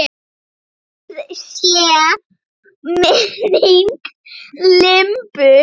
Blessuð sé minning Imbu.